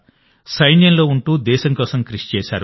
సైన్యంలో ఉంటూ దేశం కోసం కృషి చేశారు